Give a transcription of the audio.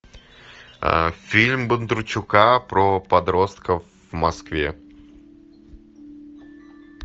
фильм бондарчука про подростков в москве